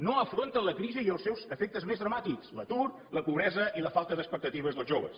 no afronten la crisi i els seus efectes més dramàtics l’atur la pobresa i la falta d’expectatives dels joves